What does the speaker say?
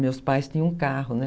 Meus pais tinham um carro, né?